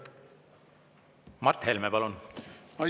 Mart Helme, palun!